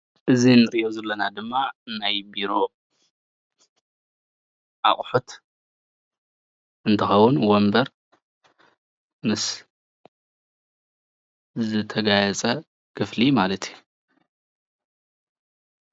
እዚ እንሪኦ ዘለና ድማ ናይ ቢሮ ኣቁሑት እንትኸውን ወንቦር ምስ ዝተጋየፂ ኽፍሊ ማለት እዩ።